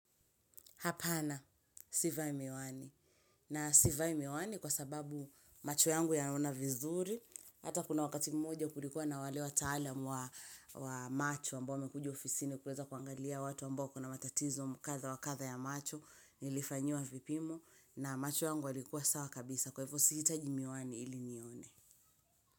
Hapana, sivai miwani. Na sivai miwani kwa sababu macho yangu yanaona vizuri. Hata kuna wakati mmoja kulikuwa na wale wataalamu wa macho ambao wamekuja ofisini kuweza kuangalia watu ambao kuna matatizo kadha wa kadha ya macho. Nilifanyiwa vipimu na macho yangu yalikuwa sawa kabisa. Kwa hivyo siitaji miwani ili nione.